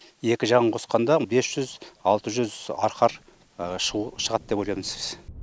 екі жағын қосқанда бес жүз алты жүз арқар шығу шығады деп ойлаймыз